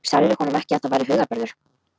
Sagðirðu honum ekki, að það væri hugarburður?